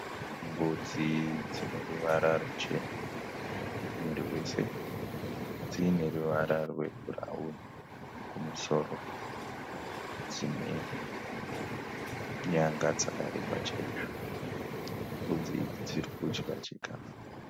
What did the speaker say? Mbudzi dzine ruvara ruchena muviri wese, dziine ruvara rwebhurauni kumusoro dzine nyanga dzakareba chaizvo. Mbudzi dzirikudya chikafu.